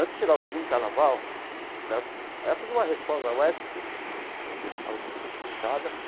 Antes de chegar o segundo carnaval né, ela fez uma reforma na UESP que a UESP ficou fechada.